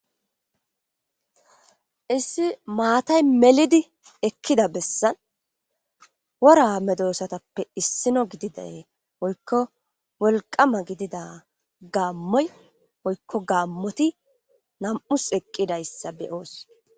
Issi maatay melidi ekida besaani wora medosatappe issino gididayi woykko wolqama gidida gaamoti woyko gaamoti nam'us eqidaysa be'osi.